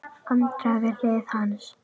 Andrea við hlið hans.